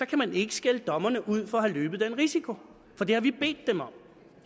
kan man ikke skælde dommerne ud for at have løbet den risiko for det har vi bedt dem om